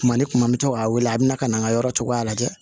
Tuma ni tuma n bɛ to k'a wele a bɛna n ka yɔrɔ cogoya lajɛ